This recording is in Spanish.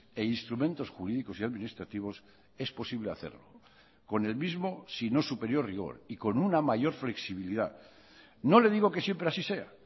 e instrumentos jurídicos y administrativos es posible hacerlo con el mismo sino superior rigor y con una mayor flexibilidad no le digo que siempre así sea